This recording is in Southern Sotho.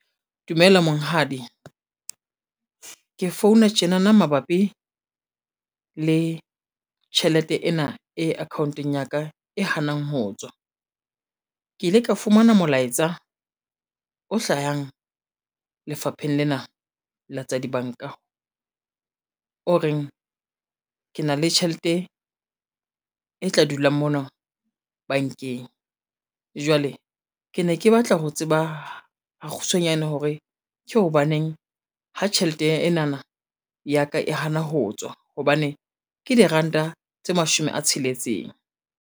Dumela monghadi, ke founa tjenana mabapi, le tjhelete ena e account-ong ya ka e hanang ho tswa. Ke ile ka fumana molaetsa o hlayang lefapheng lena la tsa dibanka, o reng ke na le tjhelete e tla dula mona bankeng. Jwale ke ne ke batla ho tseba ha kgutshwanyane hore ke hobaneng ha tjhelete enana ya ka e hana ho tswa hobane ke diranta tse mashome a tsheletseng.